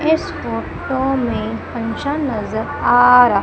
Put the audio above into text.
इस फोटो में फंक्शन नजर आ र--